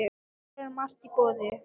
Hér er margt í boði.